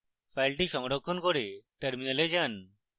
file সংরক্ষণ করে terminal যান